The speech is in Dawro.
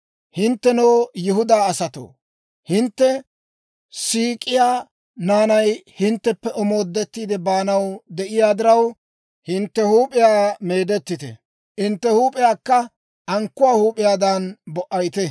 Hinttenoo, Yihudaa asatoo, hintte siik'iyaa naanay hintteppe omoodettiide baanaw de'iyaa diraw, hintte huup'iyaa meedettite; hintte huup'iyaakka ankkuwaa huup'iyaadan bo"ayite.